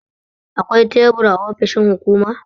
Akwai tebur a ofishin hukuma.